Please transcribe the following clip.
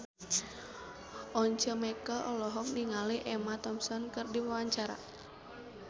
Once Mekel olohok ningali Emma Thompson keur diwawancara